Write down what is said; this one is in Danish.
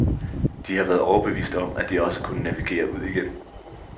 De har været overbevist om, at de også kunne navigere ud igen.